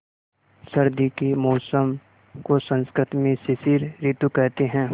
सर्दी के मौसम को संस्कृत में शिशिर ॠतु कहते हैं